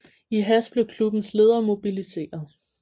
I hast blev klubbens ledere mobiliseret